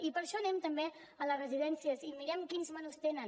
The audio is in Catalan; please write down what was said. i per això anem també a les residències i mirem quins menús tenen